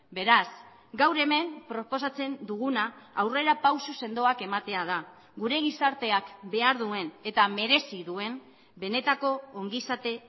beraz gaur hemen proposatzen duguna aurrerapauso sendoak ematea da gure gizarteak behar duen eta merezi duen benetako ongizate